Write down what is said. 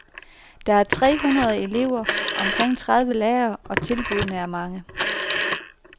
Der er tre hundrede elever og omkring tredive lærere, og tilbuddene er mange.